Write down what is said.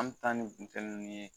An bɛ taa ni ninnu ye